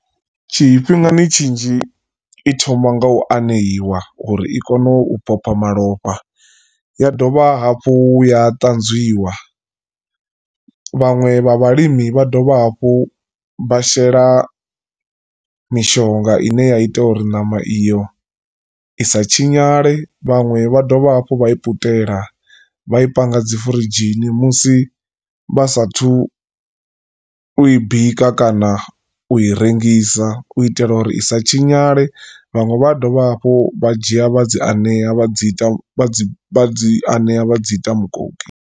Tshifhingani tshinzhi i thoma nga u aneiwa uri i kone u phopha malofha ya dovha hafhu ya ṱanzwiwa vhanwe vha vhalimi vha dovha hafhu vha shela mishonga ine ya ita uri ṋama iyo i sa tshinyale. Vhaṅwe vha dovha hafhu vha i putela vha i panga dzi furidzhini musi vha sathu u i bika kana u i rengisa u itela uri isa tshinyale vhaṅwe vha dovha hafhu vha dzhia vha dzi anea vha dzi ita dzi vha dzi anea vha dzi ita mukoki.